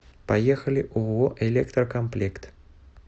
поехали ооо электрокомплект